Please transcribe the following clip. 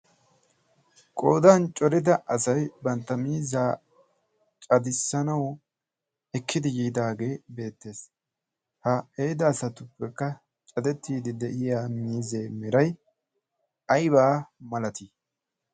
qoodan corida asai bantta miizzaa cadissanau ekkidi yiidaagee beettees. ha eeda asatuppekka cadettiidi de7iya miizee mirai aibaa malatii?